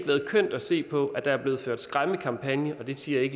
været kønt at se på at der er blevet ført skræmmekampagne det siger jeg